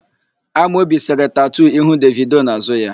Amobi sere tatu ihu Devido n'àzụ́ ya.